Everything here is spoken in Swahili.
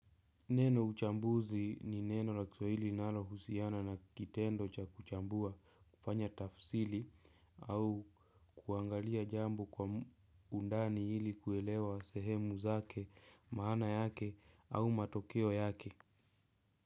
Neno "uchambuzi" ni neno la Kiswahili linalohusiana na kitendo cha kuchambua, kufanya tafsiri. Au kuangalia jambo kwa undani ili kuelewa sehemu zake, maana yake au matokeo yake.